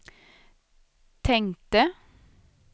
tänkte